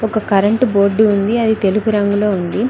ఒక current board ఉంది అది తెలుపు రంగులో ఉంది.